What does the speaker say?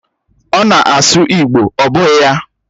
Ọ na-asụ igbo, ọ bụghị ya?